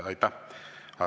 Aitäh!